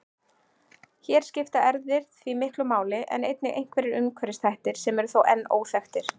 Hér skipta erfðir því miklu máli en einnig einhverjir umhverfisþættir sem eru þó enn óþekktir.